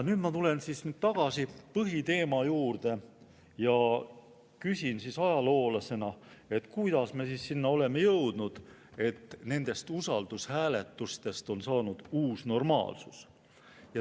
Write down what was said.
Nüüd ma tulen tagasi põhiteema juurde ja küsin ajaloolasena, kuidas me oleme jõudnud sinna, et usaldushääletustest on saanud uus normaalsus.